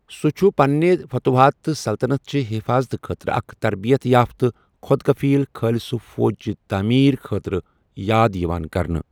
سُہ چھُ پنٕنہِ فتوحات تہٕ سلطنت چہِ حفاظتہٕ خٲطرٕ اکھ تربیت یافتہ خۅد کفیٖل خالصہ فوج چہِ تعمیٖر خٲطرٕ یاد یِوان کرنہٕ۔